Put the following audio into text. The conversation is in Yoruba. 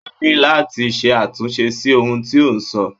Ó máa ni láti ṣe àtúnṣe sí ohun tí o sọ.